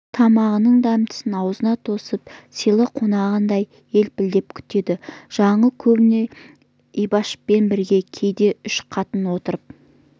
тамағының дәмдісін аузына тосып сыйлы қонағындай елпілдеп күтеді жаңыл көбіне ибашпен бірге кейде үш қатын отырып